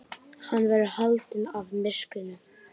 Hann verður haldinn af myrkrinu.